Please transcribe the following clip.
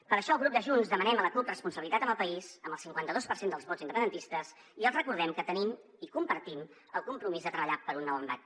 per això el grup de junts demanem a la cup responsabilitat amb el país amb el cinquanta dos per cent dels vots independentistes i els recordem que tenim i compartim el compromís de treballar per un nou embat